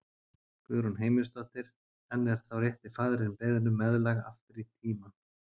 Guðrún Heimisdóttir: En er þá rétti faðirinn beðinn um meðlag aftur í tímann?